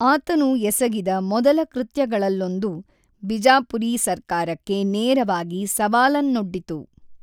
ಆತನು ಎಸಗಿದ ಮೊದಲ ಕೃತ್ಯಗಳಲ್ಲೊಂದು ಬಿಜಾಪುರಿ ಸರ್ಕಾರಕ್ಕೆ ನೇರವಾಗಿ ಸವಾಲನ್ನೊಡ್ಡಿತು.